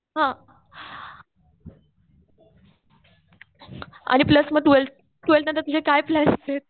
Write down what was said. हा आणि प्लस मग ट्वेल्थ नंतर तुझे काय प्लॅन्स आहेत?